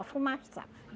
A fumaça